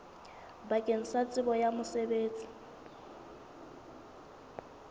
bakeng la tsebo ya mosebetsi